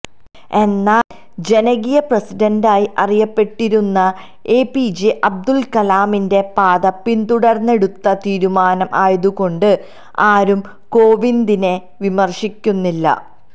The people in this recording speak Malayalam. എന്നാൽ ജനകീയ പ്രസിഡന്റായി അറിയപ്പെട്ടിരുന്ന എപിജെ അബ്ദുൾ കലാമിന്റെ പാത പിന്തുടർന്നെടുത്ത തീരുമാനം ആയതുകൊണ്ട് ആരും കോവിന്ദിനെ വിമർശിക്കുന്നില്ല